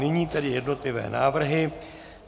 Nyní tedy jednotlivé návrhy.